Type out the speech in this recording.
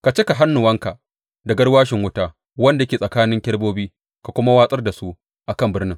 Ka cika hannuwanka da garwashin wuta wanda yake tsakanin kerubobin ka kuma watsar da su a kan birnin.